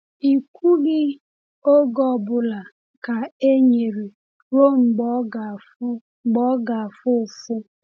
“I kwughị oge ọ bụla ka e nyere ruo mgbe ọ ga-afụ mgbe ọ ga-afụ ụfụ.”